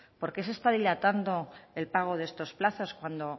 por qué se está dilatando el pago de estos plazos cuando